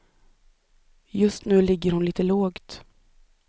Just nu ligger hon lite lågt.